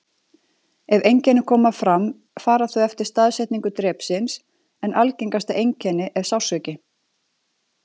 Ef einkenni koma fram fara þau eftir staðsetningu drepsins, en algengasta einkenni er sársauki.